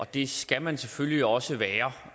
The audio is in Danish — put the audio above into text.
det skal man selvfølgelig også være